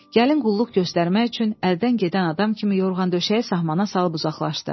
Gəlin qulluq göstərmək üçün əldən gedən adam kimi yorğan döşəyi sahmana salıb uzaqlaşdı.